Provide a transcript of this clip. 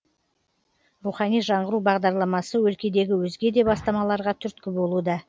рухани жаңғыру бағдарламасы өлкедегі өзге де бастамаларға түрткі болуда